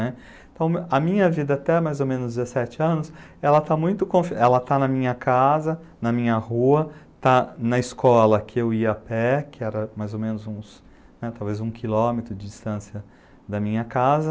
Então a minha vida até mais ou menos dezessete anos, ela tá muito confi... ela está na minha casa, na minha rua, está na escola que eu ia a pé, que era mais ou menos uns, talvez um quilômetro de distância da minha casa.